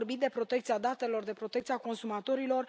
Ați vorbit de protecția datelor, de protecția consumatorilor.